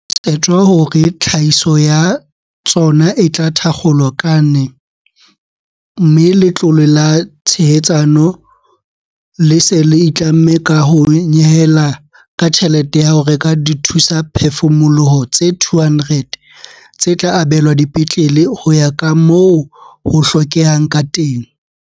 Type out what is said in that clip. Ho tshetjwa hore tlhahiso ya tsona e tla thakgolwa ka ne mme Letlole la Tshehetsano le se le itlamme ka ho nyehela ka tjhelete ya ho reka dithusaphefumoloho tse 200, tse tla abelwa dipetlele ho ya ka moo ho hlokehang ka teng.